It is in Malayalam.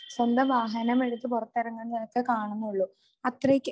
സ്വന്തം വാഹനം എടുത്ത് പുറത്തിറങ്ങുന്നതൊക്കെ കാണുന്നുള്ളൂ അത്രയ്ക്ക്